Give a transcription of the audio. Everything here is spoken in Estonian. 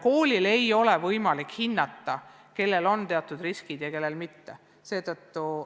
Koolil ei ole võimalik hinnata, kelle puhul esineb riske ja kelle puhul mitte.